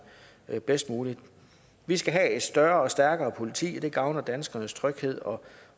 bedst muligt vi skal have et større og stærkere politi det gavner danskernes tryghed og